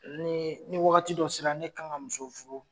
Nii ni wagati dɔ sera ne kan ka muso furu